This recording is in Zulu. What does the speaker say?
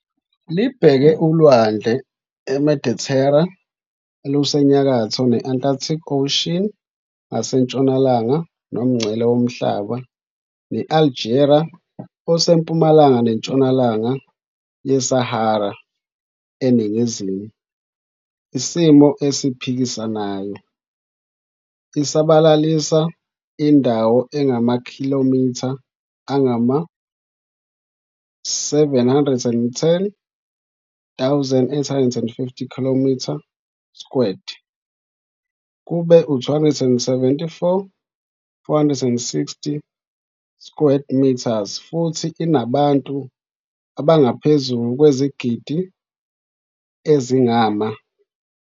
Libheke uLwandle iMedithera olusenyakatho ne-Atlantic Ocean ngasentshonalanga, nomngcele womhlaba ne-Algeria osempumalanga neNtshonalanga yeSahara eningizimu, isimo esiphikisanayo. I isabalalisa indawo engamakhilomitha angama-710,850 km2, kube u-274,460 sq metres, futhi inabantu abangaphezu kwezigidi ezingama.